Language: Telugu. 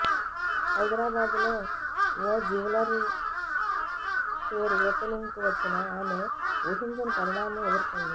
హైదరాబాదులో ఓ జ్యువెలరీ స్టోర్ ఓపెనింగ్ కు వచ్చిన ఆమె ఊహించని పరిణామం ఎదుర్కొంది